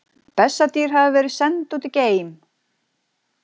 Bessadýr hafa verið send út í geim!